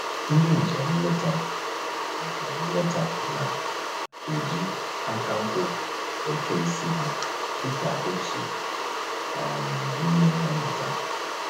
Ndị njem nleta njem nleta na-eji aka nkwụ eke isi ha dịka otu um n'ime ihe mmụta